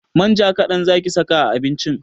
Manja kaɗan zaki saka a abincin!